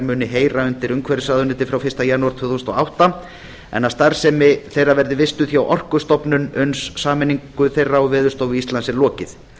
muni heyra undir umhverfisráðuneyti frá fyrsta janúar tvö þúsund og átta en að starfsemi þeirra verði vistuð hjá orkustofnun uns sameiningu þeirra og veðurstofu íslands er lokið